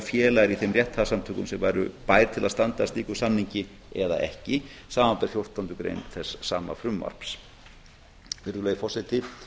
félagar í þeim rétthafasamtökum sem væru bær til að standa að slíkum samningi eða ekki samanber fjórtándu grein þess sama frumvarps virðulegi forseti